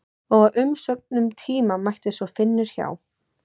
Og á umsömdum tíma mætir svo Finnur hjá